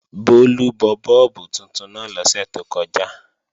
Bólú bọ bọ́ọ̀bù tuntun náà lọ́sẹ̀ tó kọjá